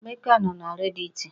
Emeka nọ na rediti